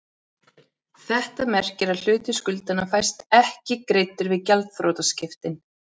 Þetta merkir að hluti skuldanna fæst ekki greiddur við gjaldþrotaskiptin.